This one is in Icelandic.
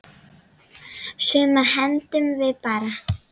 Sumu hendum við bara.